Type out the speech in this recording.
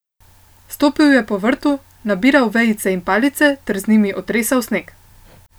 Stopil je po vrtu, nabiral vejice in palice ter z njih otresal sneg.